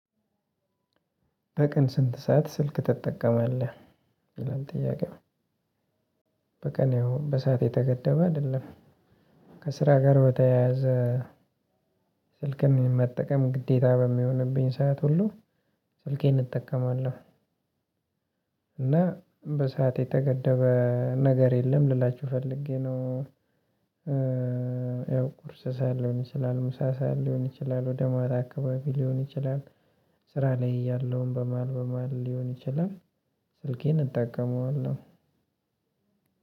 በቀን ስንት ሰዓት ስልክ ትጠቀማለህ? ይላል ጥያቄው፣ በቀን ያው በሰአት የተገደበ አይደለም። ከስራ ጋር በተያያዘ ስልክን መጠቀም ግዴታ በሚሆንብኝ ሰዓት ሁሉ ስልኬን እጠቀማለሁ። እና በሰአት የተገደበ ነገር የለም ልላችሁ ፈልጌ ነው። ያው ቁርስ ሰዓት ሊሆን ይችላል፣ ምሳ ሰዓት ሊሆን ይችላል፣ ወደ ማታ አካባቢ ሊሆን ይችላል፣ ስራ ላይ እያለሁም በመሃል በመሃል ሊሆን ይችላል ስልኬን እጠቀመዋለሁ።